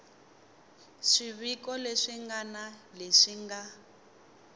swiviko leswi ngana leswi nga